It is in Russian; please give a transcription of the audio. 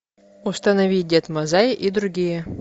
установи дед мазай и другие